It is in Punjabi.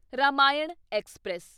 ਰਾਮਾਇਣ ਐਕਸਪ੍ਰੈਸ